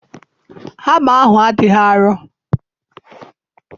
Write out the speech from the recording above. Hama ahụ ọ dị arọ?